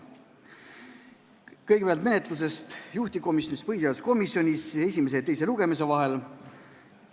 Kõigepealt menetlusest juhtivkomisjonis, põhiseaduskomisjonis, esimese ja teise lugemise vahel.